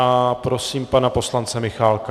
A prosím pana poslance Michálka.